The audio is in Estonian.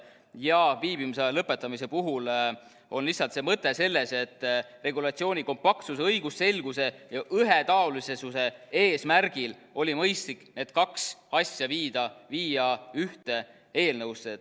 Ja viibimisaja lõppemise puhul on lihtsalt see mõte selles, et regulatsiooni kompaktsuse, õigusselguse ja ühetaolisuse eesmärgil oli mõistlik need kaks asja viia ühte eelnõusse.